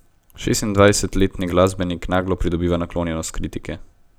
Šestindvajsetletni glasbenik naglo pridobiva naklonjenost kritike.